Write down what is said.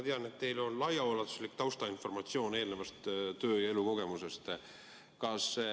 Ma tean, et teil on laiaulatuslik taustainformatsioon eelnevast töö- ja elukogemusest.